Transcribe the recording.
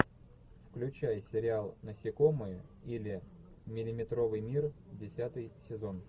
включай сериал насекомые или миллиметровый мир десятый сезон